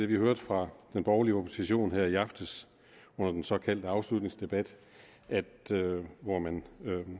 vi hørte fra den borgerlige opposition her i aftes under den såkaldte afslutningsdebat hvor man